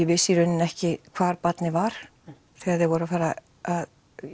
vissi í rauninni ekki hvar barnið var þegar þeir voru að